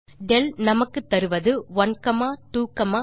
del நமக்குத்தருவது 123